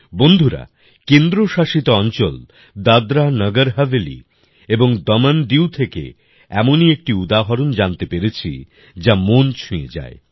বন্ধুরা কেন্দ্র শাসিত অঞ্চল দাদরানগর হাভেলী এবং দমনদিউ থেকে এমনই একটি উদাহরণ জানতে পেরেছি যা মন ছুঁয়ে যায়